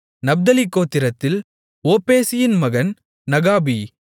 நப்தலி கோத்திரத்தில் ஒப்பேசியின் மகன் நாகபி